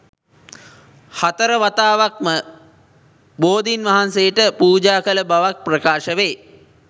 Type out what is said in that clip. හතරවතාවක්ම බෝධීන් වහන්සේට පූජා කළ බවක් ප්‍රකාශ වේ